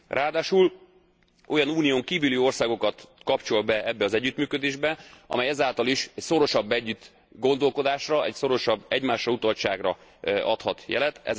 Ráadásul olyan Unión kívüli országokat kapcsol be ebbe az együttműködésbe, amely ezáltal is szorosabb együtt gondolkodásra, szorosabb egymásrautaltságra adhat jelet.